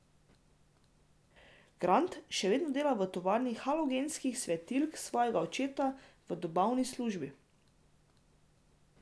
Grant še vedno dela v tovarni halogenskih svetilk svojega očeta, v dobavni službi.